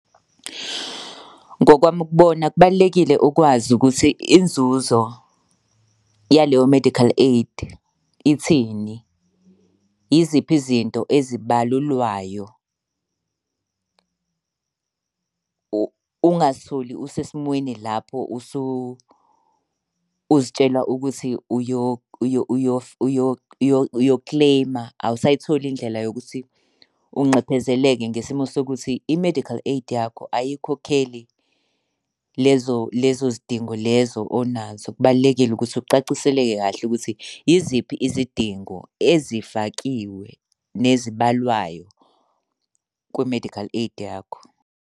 Ngokwami ukubona kubalulekile ukwazi ukuthi inzuzo yaleyo medical aid ithini. Yiziphi izinto ezibalulwayo? Ungazitholi usesimweni lapho usuzitshela ukuthi uyokileyma awusayitholi indlela yokuthi unxephezele-ke ngesimo sokuthi i-medical aid yakho ayikhokheli lezo lezo zidingo lezo onazo. Kubalulekile ukuthi ucaciseleke kahle ukuthi yiziphi izidingo ezifakiwe nezibalwayo kwi-medical aid yakho.